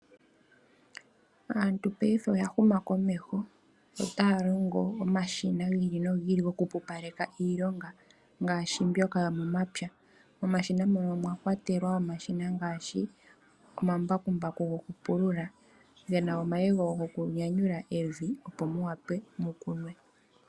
Aantu payife oyahuma komeho, ota ya longo omashina gi ili nogi ili goku pupaleka iilonga, ngaashi mbyoka yomomapya, omashina mono omwakwatelwa omashina ngaashi, omambakumbaku gokupulula, gena omayego gokunyanyula opo mu wape mukunwe.